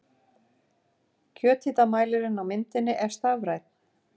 Kjöthitamælirinn á myndinni er stafrænn.